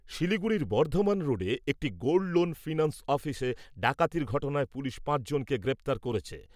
শিলিগুড়ির বর্ধমান রোডে একটি গোল্ড লোন ফিন্যান্স অফিসে ডাকাতির ঘটনায় পুলিশ পাঁচজনকে গ্রেফতার করেছে ।